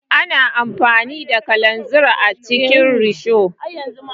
Ana amfani da kalanzir a cikin risho.